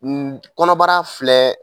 N kɔnɔbara filɛ